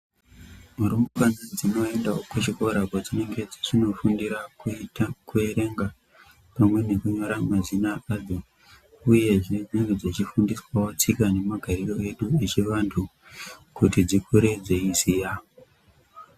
Rumbwana dzinoendawo kuzvikora kwadzinenge dzichinofundira kuita kuerenga, pamwe nekunyora mazina adzo, uyezve dzinenge dzichifundiswawo tsika nemagariro edu yechivantu, kuti dzikure dzeiziya.